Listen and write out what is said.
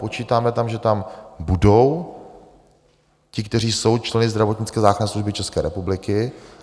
Počítáme tam, že tam budou ti, kteří jsou členy zdravotnické záchranné služby České republiky.